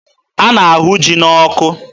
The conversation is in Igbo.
A na-ahụ ji n'ọkụ.